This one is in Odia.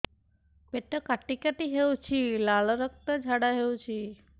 ପେଟ କାଟି କାଟି ହେଉଛି ଲାଳ ରକ୍ତ ଝାଡା ହେଉଛି